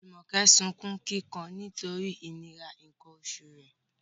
Jumoke sunkún kíkan nítorí ìnira nǹkan oṣù rẹ̀